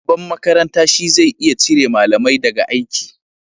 Shugaban makaranta shi zai iya cire malamai da ga aiki